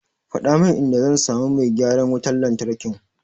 Faɗa min inda zan samu mai gyaran wutar lantarkin.